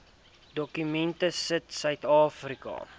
dokument sit suidafrika